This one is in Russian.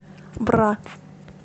бра